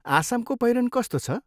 आसामको पहिरन कस्तो छ?